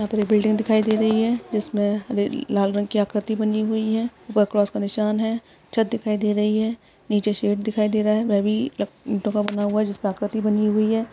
यहां पर एक बिल्डिंग दिखाई दे रही है जिस में लाल रंग की आकृति बनी हुई है ऊपर क्रॉस का निशान है छत दिखाई दे रही है नीचे शेड़ दिखाई दे रहा है वह भी ईंटो का बना हुआ है। जिस पर आकृति बनी हुई है।